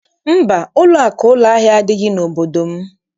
Mba, ụlọakụ ụlọahịa adịghị n'obodo m.